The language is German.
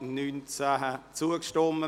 [Bichsel, Zollikofen] – Nr. 3a